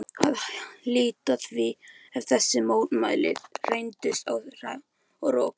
að hlíta því ef þessi mótmæli reyndust á rökum reist.